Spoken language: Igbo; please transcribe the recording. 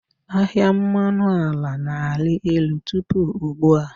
Ahịa mmanụ ala na-arị elu tupu ugbu a.